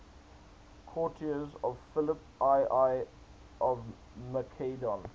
courtiers of philip ii of macedon